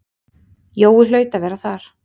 Jói hlaut að vera þar.